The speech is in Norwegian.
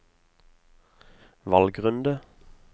valgrunde